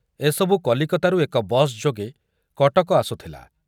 ଏସବୁ କଲିକତାରୁ ଏକ ବସ୍ ଯୋଗେ କଟକ ଆସୁଥିଲା।